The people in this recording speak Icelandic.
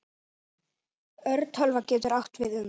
Örtölva getur átt við um